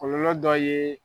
Kɔlɔlɔ dɔ ye